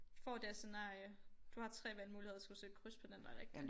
Får det her scenarie du har 3 valgmuligheder så skal du sætte kryds på den der rigtig